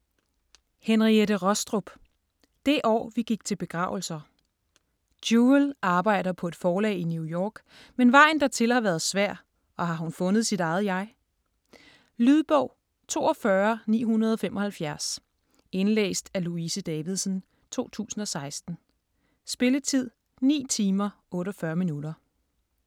Rostrup, Henriette: Det år vi gik til begravelser Jewel arbejder på et forlag i New York, men vejen dertil har været svær og har hun fundet sit eget jeg? Lydbog 42975 Indlæst af Louise Davidsen, 2016. Spilletid: 9 timer, 48 minutter.